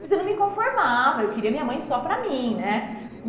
Mas eu não me conformava, eu queria minha mãe só para mim, né?